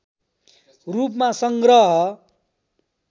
रूपमा संग्रह